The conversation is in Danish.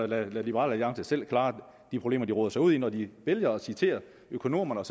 lade liberal alliance selv klare de problemer de roder sig ud i når de vælger at citere økonomerne og